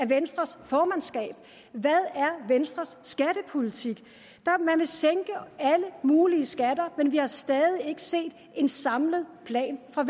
venstres formandskab hvad er venstres skattepolitik man vil sænke alle mulige skatter men vi har stadig ikke set en samlet plan fra